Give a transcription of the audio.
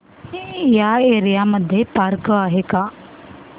या एरिया मध्ये पार्क आहे का